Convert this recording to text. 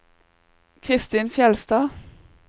Christin Fjeldstad